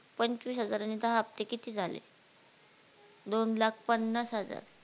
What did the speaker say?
पंचवीस हजाराने दहा हफ्ते किती झाले? दोन लाख पन्नास हजार